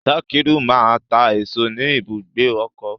Sakiru ma ta èso ni ibùgbé ọkọ.